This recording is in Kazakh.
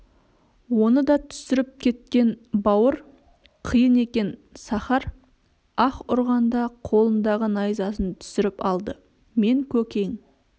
оны да түсіріп кеткен бауыр қиын екен сахар аһ ұрғанда қолындағы найзасын түсіріп алды мен көкең